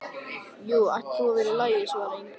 Jú, það ætti nú að vera í lagi svaraði Engilbert.